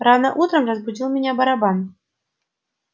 рано утром разбудил меня барабан